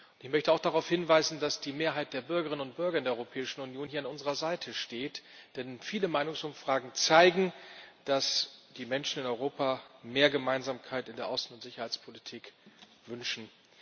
Ich möchte auch darauf hinweisen, dass die Mehrheit der Bürgerinnen und Bürger in der Europäischen Union hier an unserer Seite steht, denn viele Meinungsumfragen zeigen, dass die Menschen in Europa mehr Gemeinsamkeit in der Außen und Sicherheitspolitik wünschen.